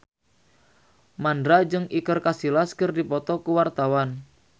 Mandra jeung Iker Casillas keur dipoto ku wartawan